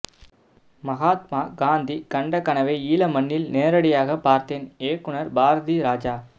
மகாத்மா காந்தி கண்ட கனவை ஈழ மண்ணில் நேரடியாகப் பார்தேன் இயக்குநர் பாரதிராஜா